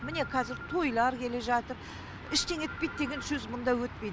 міне кәзір тойлар келе жатыр ештеңе етпейді деген сөз мұнда өтпейді